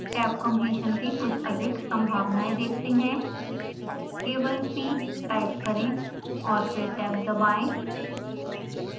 tab completion की कुछ अधिक संभावनाएं देखते हैं